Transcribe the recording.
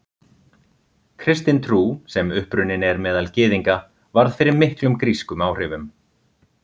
Kristin trú, sem upprunnin er meðal Gyðinga, varð fyrir miklum grískum áhrifum.